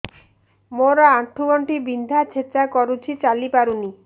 ମୋର ଆଣ୍ଠୁ ଗଣ୍ଠି ବିନ୍ଧା ଛେଚା କରୁଛି ଚାଲି ପାରୁନି